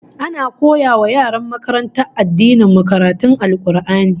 Ana koya wa yaran makarantar addinin mu karatun Al-Qur'ani